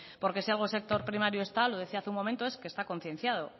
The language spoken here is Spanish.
porque si algo el sector primario está lo decía hace un momento es que está concienciado